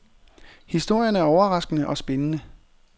Historien er overraskende og spændende.